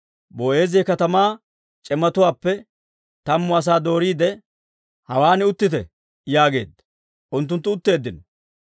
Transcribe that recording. Boo'eezi he katamaa c'imatuwaappe tammu asaa dooriide, «Hawaan uttite» yaageedda; unttunttu utteeddino.